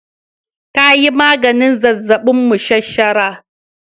Ta yi maganin zazzabin mashashara